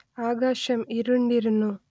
ആകാശം ഇരുണ്ടിരുന്നു